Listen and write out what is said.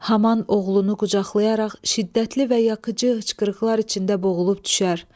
Haman oğlunu qucaqlayaraq şiddətli və yakıcı hıçqırıqlar içində boğulub düşər.